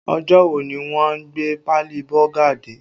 Ọjọ́ wo ni wọ́n a gbé páálí Bọ́gà dé?